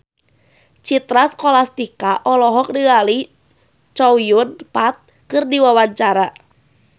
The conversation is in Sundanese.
Citra Scholastika olohok ningali Chow Yun Fat keur diwawancara